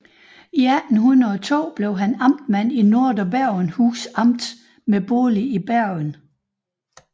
I 1802 blev han amtmand i Nordre Bergenhus Amt med bolig i Bergen